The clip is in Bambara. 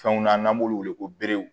Fɛnw na n'an b'olu wele ko beerew